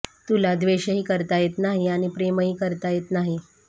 तुला द्वेषही करता येत नाही आणि प्रेमही करता येत नाही